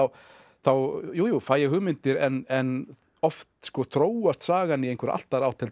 þá jú jú fæ ég hugmyndir en oft þróast sagan í einhverja allt aðra átt heldur